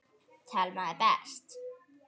Klukkan fjögur?